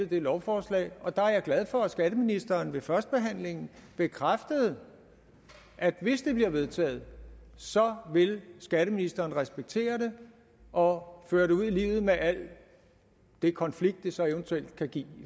det lovforslag og der er jeg glad for at skatteministeren ved førstebehandlingen bekræftede at hvis det bliver vedtaget vil skatteministeren respektere det og føre det ud i livet med al den konflikt det så eventuelt kan give